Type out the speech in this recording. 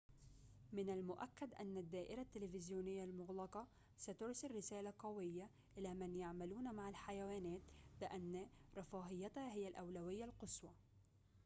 من المؤكد أن الدائرة التلفزيونية المغلقة سترسل رسالة قوية إلى من يعملون مع الحيوانات بأن رفاهيتها هي الأولوية القصوى